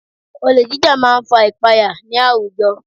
Olè jíjà máa ń fa ìpaya ní àwùjọ